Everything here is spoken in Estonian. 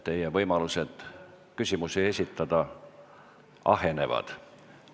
Teie võimalused küsimusi esitada ahenevad.